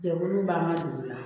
Jɛkulu b'an ka dugu la